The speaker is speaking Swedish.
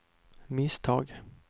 misstag